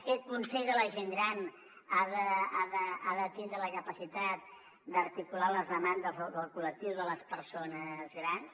aquest consell de la gent gran ha de tindre la capacitat d’articular les demandes del col·lectiu de les persones grans